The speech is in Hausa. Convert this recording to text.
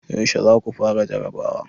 Yaushe za ku fara jarabawa?